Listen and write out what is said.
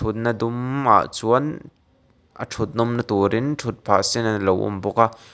mutna dum ah chuan a ṭhut nawm na turin ṭhut phah sen alo awm bawk a.